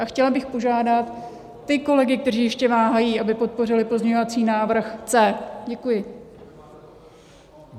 A chtěla bych požádat ty kolegy, kteří ještě váhají, aby podpořili pozměňovací návrh C. Děkuji.